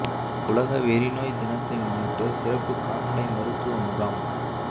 உலக வெறி நோய் தினத்தை முன்னிட்டு சிறப்பு கால்நடை மருத்துவ முகாம்